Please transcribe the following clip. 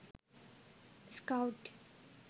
scout